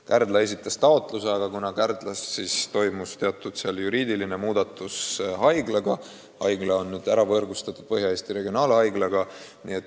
Kärdla esitas taotluse, aga Kärdla haiglaga toimus teatud juriidiline muudatus: see haigla on nüüd võrgustatud Põhja-Eesti Regionaalhaiglaga.